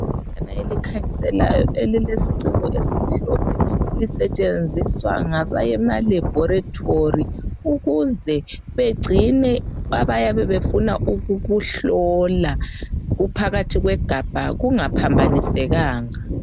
elikhanyiselayo elilesiciko esimhlophe. Lisetshenziswa ngabayemalebhoretori ukuze begcine abayabe befuna ukukuhlola kuphakathi kwegabha kungaphambanisekanga.